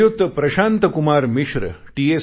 Shriyut Prashant Kumar Mishra T